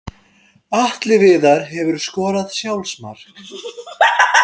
Atli Viðar Hefurðu skorað sjálfsmark?